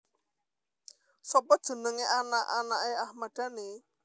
Sopo jenenge anak anake Ahmad Dhani